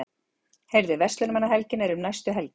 Heyrðu, Verslunarmannahelgin er um næstu helgi.